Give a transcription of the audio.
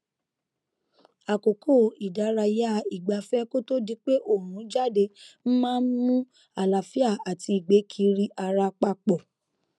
àkókò ìdárayá ìgbafẹ kó tó di pé òòrùn jáde maá n mú àlààfíà àti ìgbé kiri ara papọ